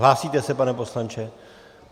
Hlásíte se, pane poslanče?